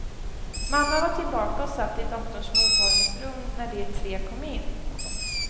Mamma var tillbaka och satt i doktorns mottagningsrum när de tre kom in.